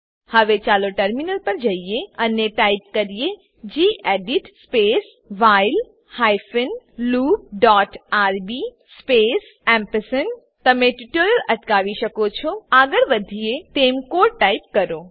હવે ચાલો ટર્મિનલ પર જઈએ અને ટાઈપ કરીએ gedit space while hyphen loop dot RB space gedit space while hyphen loop dot RB space ampersand તમે ટ્યુટોરીયલ અટકાવી શકો છો આગળ વધીએ તેમ કોડ ટાઈપ કરો